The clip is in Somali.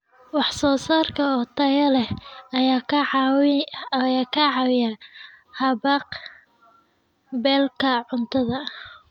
Wax soo saarka oo tayo leh ayaa ka caawiya haqab-beelka cuntada.